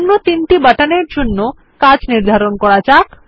অন্য তিনটি বাটনের জন্য কাজ নির্ধারণ করা যাক